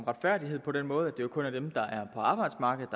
retfærdighed på den måde at det kun er dem der er på arbejdsmarkedet